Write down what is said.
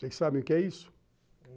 Vocês sabem o que é isso?